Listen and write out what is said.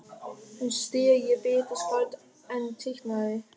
Finnst þér ég betra skáld en teiknari?